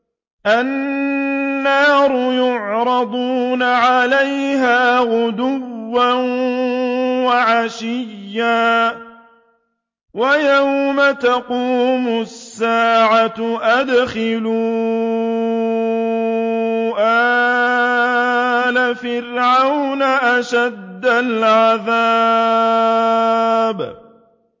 النَّارُ يُعْرَضُونَ عَلَيْهَا غُدُوًّا وَعَشِيًّا ۖ وَيَوْمَ تَقُومُ السَّاعَةُ أَدْخِلُوا آلَ فِرْعَوْنَ أَشَدَّ الْعَذَابِ